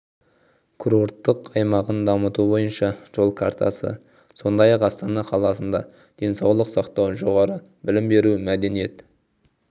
курорттық аймағын дамыту бойынша жол картасы сондай-ақ астана қаласында денсаулық сақтау жоғары білім беру мәдениет